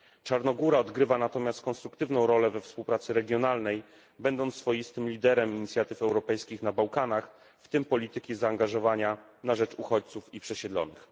Czarnogóra odgrywa natomiast konstruktywną rolę we współpracy regionalnej będąc swoistym liderem inicjatyw europejskich na Bałkanach, w tym polityki zaangażowania na rzecz uchodźców i przesiedlonych.